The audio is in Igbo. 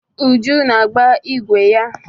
Uju na-agba ịgwe ya.